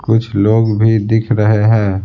कुछ लोग भी दिख रहे हैं।